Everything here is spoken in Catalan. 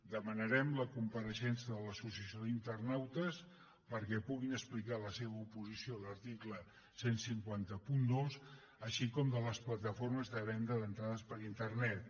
demanarem la compareixença de l’associació d’internautes perquè puguin explicar la seva oposició a l’article quinze zero dos així com de les plataformes de venda d’entrades per internet